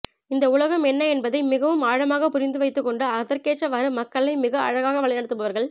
இந்த உலகம் என்ன என்பதை மிகவும் ஆழமாக புரிந்து வைத்துக்கொண்டு அதற்கேற்றவாறு மக்களை மிக அழகாக வழி நடத்துபவர்கள்